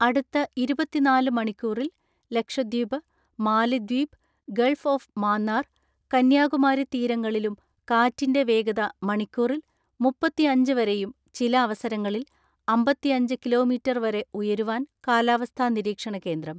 അടുത്ത ഇതുപത്തിനാല് മണിക്കൂറിൽ ലക്ഷദ്വീപ്, മാലിദ്വീപ് ഗൾഫ് ഓഫ് മാന്നാർ, കന്യാകുമാരി തീരങ്ങളിലും കാറ്റിന്റെ വേഗത മണിക്കൂറിൽ മുപ്പത്തിഅഞ്ച് വരെയും ചില അവസരങ്ങളിൽ അമ്പതിഅഞ്ച് കിലോ മീറ്റർ വരെ ഉയരുവാൻ കാലാവസ്ഥാ നിരീക്ഷണ കേന്ദ്രം.